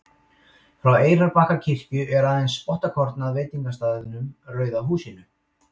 frá eyrarbakkakirkju er aðeins spottakorn að veitingastaðnum rauða húsinu